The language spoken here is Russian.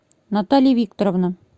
наталья викторовна